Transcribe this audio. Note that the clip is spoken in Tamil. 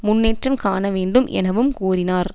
முன்னேற்றம் காண வேண்டும் எனவும் கூறினார்